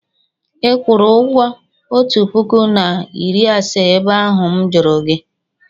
ị kwụrụ ụgwọ otu puku na iri asaa ebe ahụ m juru gi?